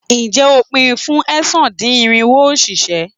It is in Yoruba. Ǹjé o pin fún ẹ̀sán-dín-irinwo òṣìṣẹ́.